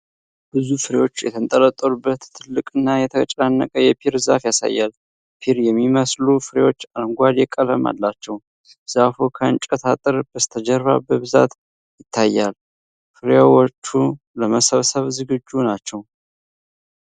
ብዙ ፍሬዎች የተንጠለጠሉበት ትልቅና የተጨናነቀ የፒር ዛፍ ያሳያል። ፒር የሚመስሉ ፍሬዎች አረንጓዴ ቀለም አላቸው። ዛፉ ከእንጨት አጥር በስተጀርባ በብዛት ይታያል። ፍሬዎቹ ለመሰብሰብ ዝግጁ ናቸው?